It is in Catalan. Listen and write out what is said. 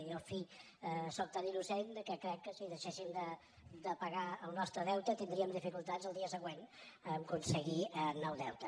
i jo en fi sóc tan innocent que crec que si deixéssim de pagar el nostre deute tindríem dificultats el dia següent a aconseguir nou deute